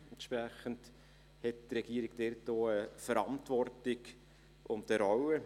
Entsprechend hat die Regierung dort auch Verantwortung und eine Rolle.